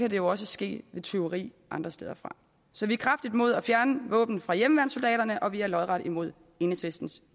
jo også ske ved tyveri andre steder fra så vi er kraftigt imod at fjerne våben fra hjemmeværnssoldaterne og vi er lodret imod enhedslistens